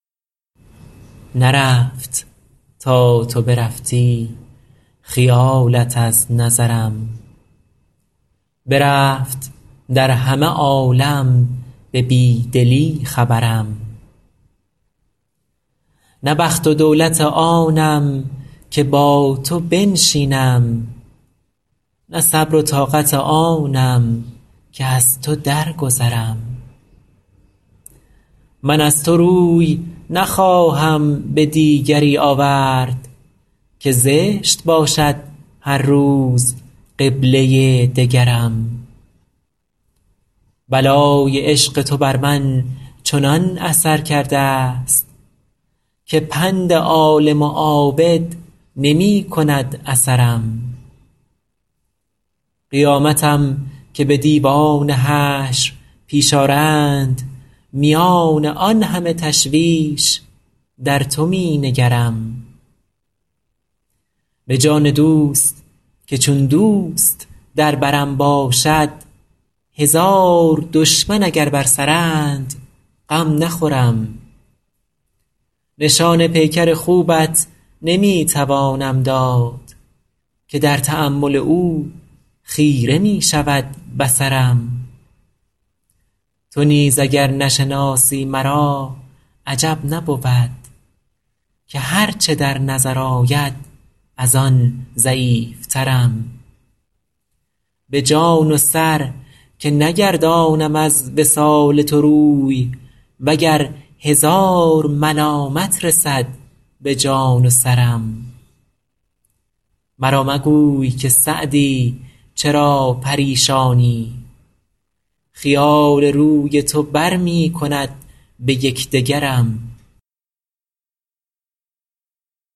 نرفت تا تو برفتی خیالت از نظرم برفت در همه عالم به بی دلی خبرم نه بخت و دولت آنم که با تو بنشینم نه صبر و طاقت آنم که از تو درگذرم من از تو روی نخواهم به دیگری آورد که زشت باشد هر روز قبله دگرم بلای عشق تو بر من چنان اثر کرده ست که پند عالم و عابد نمی کند اثرم قیامتم که به دیوان حشر پیش آرند میان آن همه تشویش در تو می نگرم به جان دوست که چون دوست در برم باشد هزار دشمن اگر بر سرند غم نخورم نشان پیکر خوبت نمی توانم داد که در تأمل او خیره می شود بصرم تو نیز اگر نشناسی مرا عجب نبود که هر چه در نظر آید از آن ضعیفترم به جان و سر که نگردانم از وصال تو روی و گر هزار ملامت رسد به جان و سرم مرا مگوی که سعدی چرا پریشانی خیال روی تو بر می کند به یک دگرم